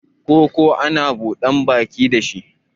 Koko ana buda baki da shi